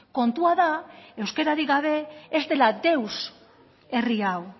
kontua da euskararik gabe ez dela deus herri hau